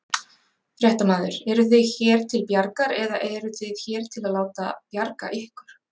Fréttamaður: Eruð þið hér til bjargar eða eruð þið hér til að láta bjarga ykkur?